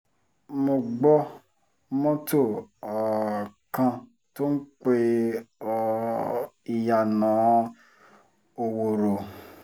mo gbọ́ mọ́tò um kan tó ń pe um ìyànà òwòrò